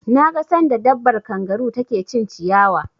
Na ga sanda dabbar kangaru ta ke cin ciyawa